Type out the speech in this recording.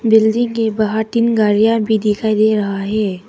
Building के बाहर तीन गाड़ियां भी दिखाई दे रहा है।